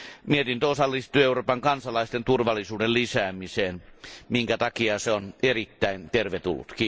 Mietintö osallistuu Euroopan kansalaisten turvallisuuden lisäämiseen, minkä takia se on erittäin tervetullut.